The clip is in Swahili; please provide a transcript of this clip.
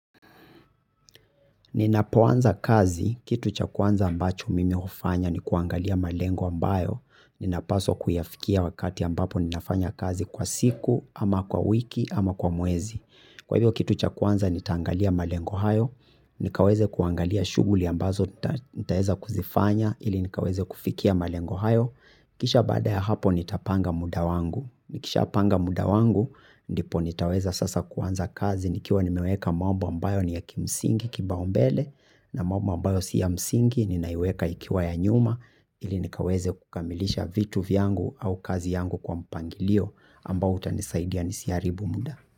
Ninapoanza kazi, kitu cha kwanza ambacho mimi hufanya ni kuangalia malengo ambayo, ninapaswa kuyafikia wakati ambapo ninafanya kazi kwa siku, ama kwa wiki, ama kwa mwezi. Kwa hivyo kitu cha kwanza nitaangalia malengo hayo, nikaweze kuangalia shughuli ambazo nitaeza kuzifanya ili nikaweze kufikia malengo hayo. Kisha baada ya hapo nitapanga muda wangu. Nikishapanga muda wangu ndipo nitaweza sasa kuanza kazi nikiwa nimeweka mambo ambayo ni ya kimsingi kipaumbele na mambo ambayo si ya msingi ninaiweka ikiwa ya nyuma ili nikaweze kukamilisha vitu vyangu au kazi yangu kwa mpangilio ambao utanisaidia nisiharibu muda.